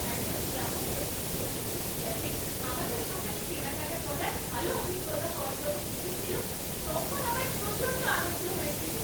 একজন গ্রাহক যখন সোশ্যাল মিডিয়াতে আমাদের দোকানে কেনাকাটা করার ভালো অভিজ্ঞতা হওয়ার কথা লিখেছিল, তখন আমার প্রচণ্ড আনন্দ হয়েছিল।